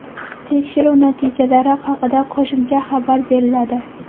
Tekshiruv natijalari haqida qo‘shimcha xabar beriladi.